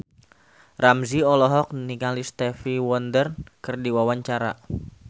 Ramzy olohok ningali Stevie Wonder keur diwawancara